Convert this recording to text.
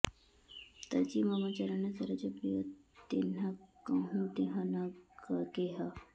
तजि मम चरन सरोज प्रिय तिन्ह कहुँ देह न गेह